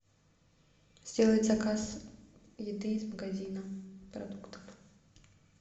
сделать заказ еды из магазина продуктов